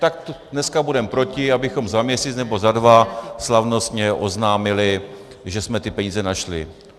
Tak dneska budeme proti, abychom za měsíc nebo za dva slavnostně oznámili, že jsme ty peníze našli.